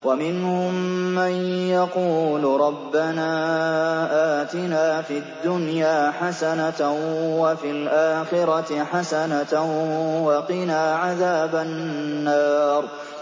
وَمِنْهُم مَّن يَقُولُ رَبَّنَا آتِنَا فِي الدُّنْيَا حَسَنَةً وَفِي الْآخِرَةِ حَسَنَةً وَقِنَا عَذَابَ النَّارِ